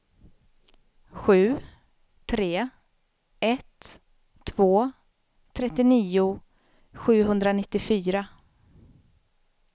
sju tre ett två trettionio sjuhundranittiofyra